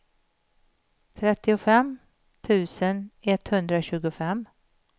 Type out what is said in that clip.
trettiofem tusen etthundratjugofem